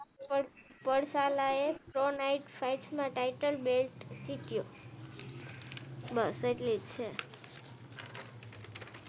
પરસાળ આયે તો night fight મેં ટાઇટલ બેલ્ટ જીત્યું બસ એટલી જ છે